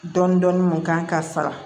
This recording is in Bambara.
Dɔɔnin-dɔɔnin mun kan ka sara